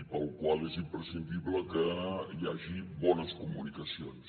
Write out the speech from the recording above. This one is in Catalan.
i pel qual és imprescindible que hi hagi bones comunicacions